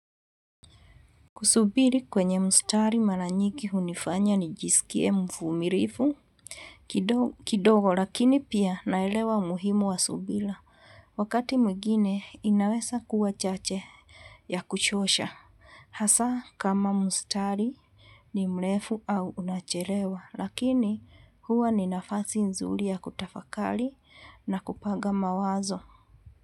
Kusubiri kwenye mustari mara nyingi hunifanya nijisikie mvumilivu. Kidogo lakini pia naelewa muhimu wa subira. Wakati mwingine inawezakuwa chache ya kuchosha. Hasa kama mstari ni mrefu au unachelewa. Lakini huwa ni nafasi nzuri ya kutafakari na kupanga mawazo.